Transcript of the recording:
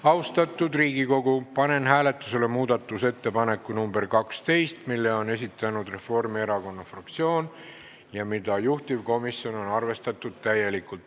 Austatud Riigikogu, panen hääletusele muudatusettepaneku nr 12, mille on esitanud Reformierakonna fraktsioon ja mida juhtivkomisjon on arvestanud täielikult.